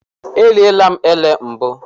Eriela m elé mbụ.